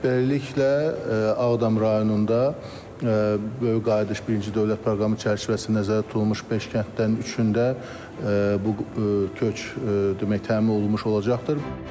Beləliklə, Ağdam rayonunda böyük qayıdış birinci dövlət proqramı çərçivəsi nəzərdə tutulmuş beş kənddən üçün də bu köç demək təmin olunmuş olacaqdır.